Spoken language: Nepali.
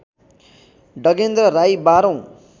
डगेन्द्र राई बाह्रौँ